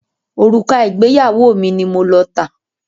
Òrùka ìgbéyàwó mi ni mo lọ tà.